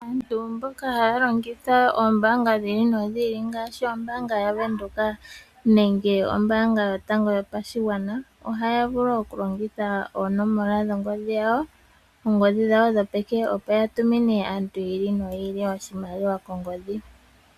Aantu mboka haya longitha oombaanga dhi ili nodhi ili ngaashi ombaanga yaVenduka nenge ombaanga yotango yopashigwana ohaya vulu okulongitha oonomola dhongodhi yawo, oongodhi dhawo dhopeke opo ya tumine aantu yi ili noyi ili oshimaliwa kongodhi.